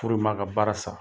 Furu in man ka baara sa.